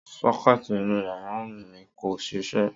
Só̩ké̩è̩tì inú yàrá mi kò s̩isé̩